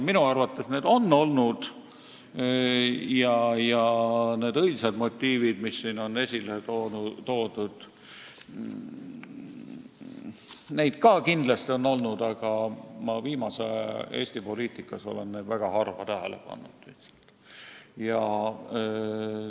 Minu arvates neid on olnud ja ka õilsaid motiive, mis siin on esile toodud, on kindlasti olnud, aga viimase aja Eesti poliitikas olen ma neid tähele pannud väga harva.